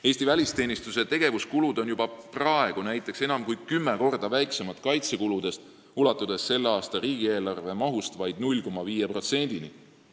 Eesti välisteenistuse tegevuskulud on juba praegu näiteks enam kui kümme korda väiksemad kaitsekuludest, ulatudes vaid 0,5%-ni selle aasta riigieelarve mahust.